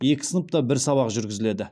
екі сыныпта бір сабақ жүргізіледі